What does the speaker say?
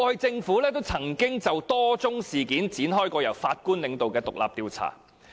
政府過去也曾就多宗事件展開由法官領導的獨立調查。